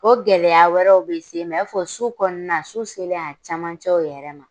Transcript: O gɛlɛya wɛrɛw bɛ se i ma i n'a fɔ su kɔnɔna su selen a camancɛw yɛrɛ ma